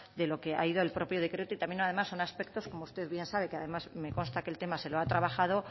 de lo que ha ido el propio decreto y también además son aspectos como usted bien sabe que además me consta que el tema se lo ha trabajado